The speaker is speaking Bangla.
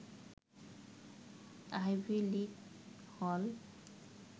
আইভি লীগ হল